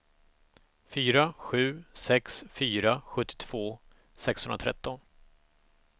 fyra sju sex fyra sjuttiotvå sexhundratretton